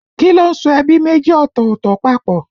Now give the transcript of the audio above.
Kí ló ń so ẹbí méjì ọ̀tọ̀ọ̀tọ̀ papọ̀?